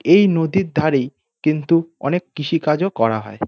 এই নদীর ধারেই কিন্তু অনেক কৃষি কাজও করা হয়।